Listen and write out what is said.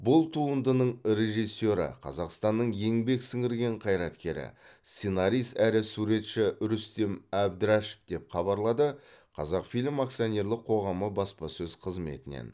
бұл туындың режиссері қазақстанның еңбек сіңірген қайраткері сценарист әрі суретші рүстем әбдірашев деп хабарлады қазақфильм акционерлік қоғамы баспасөз қызметінен